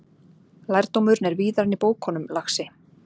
Lærdómurinn er víðar en í bókunum, lagsi.